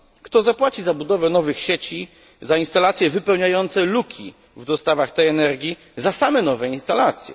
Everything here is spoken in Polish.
Kto zapłaci za budowę nowych sieci, za instalacje wypełniające luki w dostawach energii, za same nowe instalacje?